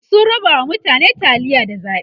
sun rabawa mutane taliya da zaɓe